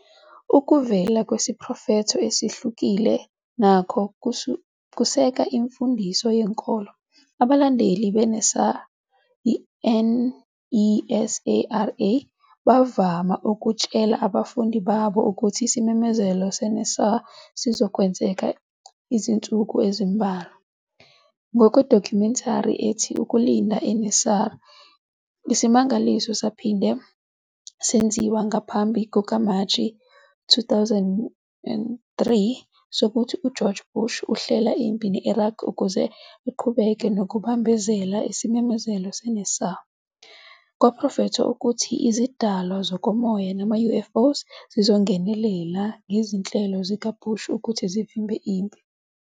Ukuvelela kwesiprofetho esihlulekile nakho kusekela imfundiso yenkolo. Abalandeli bakaNESARA bavame ukutshela abafundi babo ukuthi isimemezelo seNESARA sizokwenzeka ezinsukwini ezimbalwa. Ngokwedokhumentari ethi "Ukulinda i-NESARA", isimangalo saphinde senziwa ngaphambi kukaMashi 2003 sokuthi uGeorge Bush uhlela impi ne-Iraq ukuze aqhubeke nokubambezela isimemezelo se-NESARA. Kwaprofethwa ukuthi izidalwa zokomoya namaUFOs zizongenelela ngezinhlelo zikaBush futhi zivimbele impi.